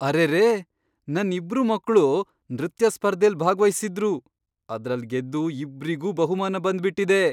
ಅರೆರೇ! ನನ್ ಇಬ್ರು ಮಕ್ಳು ನೃತ್ಯ ಸ್ಪರ್ಧೆಲ್ ಭಾಗ್ವಹಿಸಿದ್ರು, ಅದ್ರಲ್ ಗೆದ್ದು ಇಬ್ರಿಗೂ ಬಹುಮಾನ ಬಂದ್ಬಿಟಿದೆ!